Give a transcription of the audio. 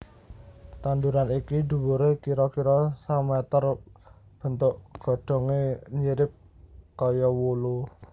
Tanduran iki dhuwure kira kira sameter bentuk godhonge nyirip kaya wulu